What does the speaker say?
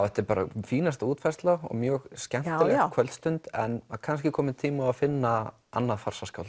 þetta er bara fínasta útfærsla og mjög skemmtileg kvöldstund en kannski kominn tími á að finna annað